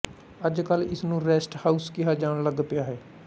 ਅੱਜ ਕੱਲ ਇਸਨੂੰ ਰੈਸਟ ਹਾਊਸ ਕਿਹਾ ਜਾਣ ਲੱੱਗ ਪਿਆ ਹੈ